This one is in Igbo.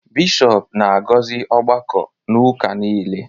bishọp na-agọzi ọgbakọ n’ụka nile